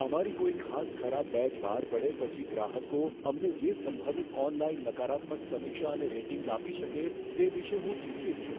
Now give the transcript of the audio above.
અમારી કોઈ ખાસ ખરાબ બેચ બહાર પડે પછી ગ્રાહકો અમને જે સંભવિત ઓનલાઈન નકારાત્મક સમીક્ષા અને રેટિંગ્સ આપી શકે, તે વિષે હું ચિંતિત છું.